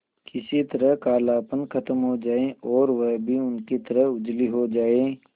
किसी तरह कालापन खत्म हो जाए और वह भी उनकी तरह उजली हो जाय